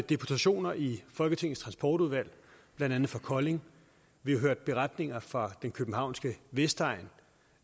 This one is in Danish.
deputationer i folketingets transportudvalg blandt andet fra kolding vi har hørt beretninger fra den københavnske vestegn